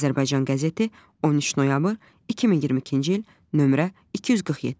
Azərbaycan qəzeti 13 noyabr 2022-ci il nömrə 247.